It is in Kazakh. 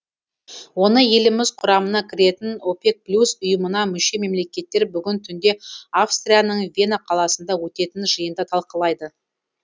оны еліміз құрамына кіретін опек плюс ұйымына мүше мемлекеттер бүгін түнде австрияның вена қаласында өтетін жиында талқылайды